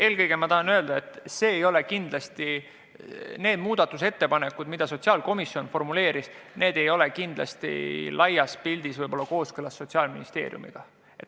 Eelkõige tahan öelda, et need muudatusettepanekud, mis sotsiaalkomisjon formuleeris, ei ole kindlasti laias pildis kooskõlastatud Sotsiaalministeeriumiga.